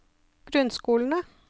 grunnskolene